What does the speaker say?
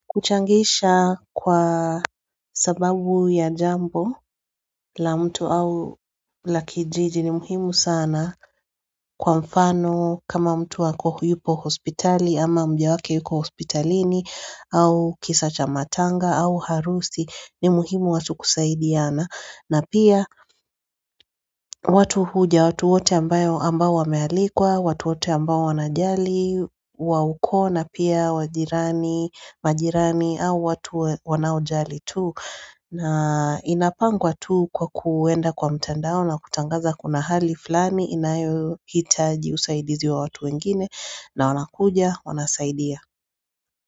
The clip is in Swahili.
Kuchangisha kwa sababu ya jambo la mtu au la kijiji ni muhimu sana kwa mfano kama mtu ako yupo hospitali ama mjewake yuko hospitalini au kisacha matanga au harusi ni muhimu watu kusaidiana. Na pia watu huja, watu wote ambayo ambayo wamealikwa, watu wote ambayo wanajali, wawuko na pia wajirani, majirani au watu wanojali tu. Na inapangwa tu kwa kuenda kwa mtandao na kutangaza kuna hali flani inayo hitaji usaidizi wa watu wengine na wanakuja, wanasaidia.